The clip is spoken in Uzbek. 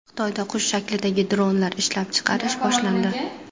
Xitoyda qush shaklidagi dronlar ishlab chiqarish boshlandi.